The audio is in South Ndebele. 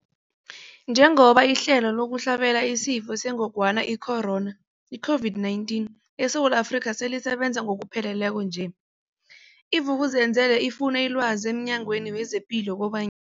Njengoba ihlelo lokuhlabela isiFo sengogwana i-Corona, i-COVID-19, eSewula Afrika selisebenza ngokupheleleko nje, i-Vuk'uzenzele ifune ilwazi emNyangweni wezePilo koban